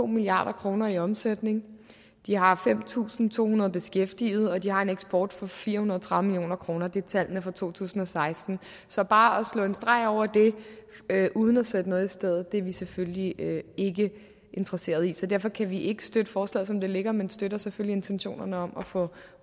milliard kroner i omsætning de har fem tusind to hundrede beskæftigede og de har en eksport for fire hundrede og tredive million kroner det er tallene fra to tusind og seksten så bare at slå en streg over det uden at sætte noget i stedet er vi selvfølgelig ikke interesseret i så derfor kan vi ikke støtte forslaget som det ligger men vi støtter selvfølgelig intentionerne om at få